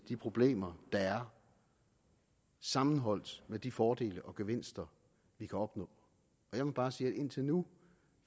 de problemer der er sammenholdt med de fordele og gevinster vi kan opnå og jeg vil bare sige at indtil nu